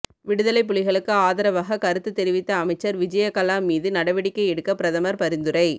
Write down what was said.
விடுதலை புலிகளுக்கு ஆதரவாக கருத்து தெரிவித்த அமைச்சர் விஜயகலா மீது நடவடிக்கை எடுக்க பிரதமர் பரிந்துரை